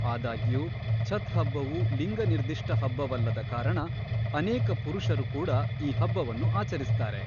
ಆದಾಗ್ಯೂ, ಛತ್‌ ಹಬ್ಬವು ಲಿಂಗ-ನಿರ್ದಿಷ್ಟ ಹಬ್ಬವಲ್ಲದ ಕಾರಣ ಅನೇಕ ಪುರುಷರು ಕೂಡ ಈ ಹಬ್ಬವನ್ನು ಆಚರಿಸುತ್ತಾರೆ.